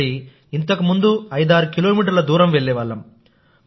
మరి ఇంతకుముందు ఐదారు కిలోమీటర్ల దూరం వెళ్లేవారు